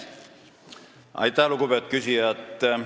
Aitäh, lugupeetud küsija!